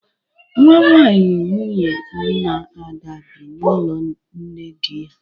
Nwanwaanyị nwunye nna Ada bi n'ụlọ nne dị ya.